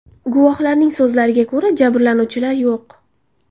Guvohlarning so‘zlariga ko‘ra, jabrlanuvchilar yo‘q.